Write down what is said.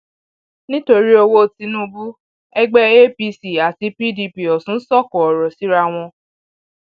nítorí owó tinubu ẹgbẹ apc um àti pdp ọsún sọkò ọrọ síra um wọn